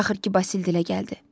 Axır ki, Basil dilə gəldi.